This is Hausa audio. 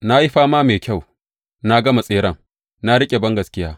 Na yi fama mai kyau, na gama tseren, na riƙe bangaskiya.